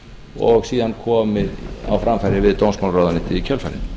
og síðan komið á framfæri við dómsmálaráðuneytið í kjölfarið